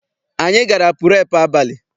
Anyị gara purepu abalị.